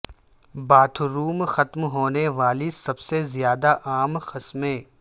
bath room ختم ہونے والی سب سے زیادہ عام قسمیں